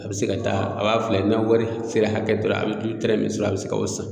A bɛ se ka taa a b'a filɛ n'a wari sera hakɛ dɔ la a bɛ tɛrɛ min sɔrɔ a bɛ se ka o san